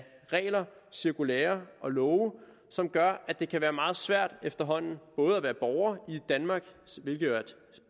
regler cirkulærer og love som gør at det både kan være meget svært efterhånden at være borger i danmark hvilket er et